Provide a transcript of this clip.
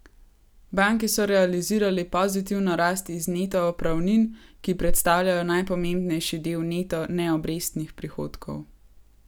Banke so realizirale pozitivno rast iz neto opravnin, ki predstavljajo najpomembnejši del neto neobrestnih prihodkov.